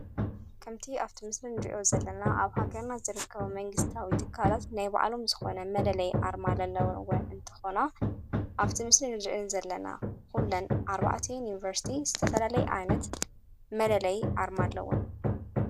ከምቲ ኣብቲ ምስል ን ድእዮ ዘለና ኣብ ሃገርናት ዘርከቦ መንግሥታዊ ትካላት ናይ በዕሎም ዝኾነ መለለይ ኣርማለኣለወንወን እንተኾና ኣብቲ ምስር ንድዕን ዘለና ዂለን ዓርባዕትይን ዩንበርስቲ ዝተፈለለይ ኣይነት መለለይ ኣርማ ኣለወን::